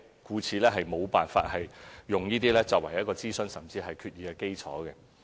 故此，無法以此等提議，作為諮詢，甚至是決議的基礎。